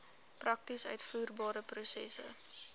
prakties uitvoerbare prosesse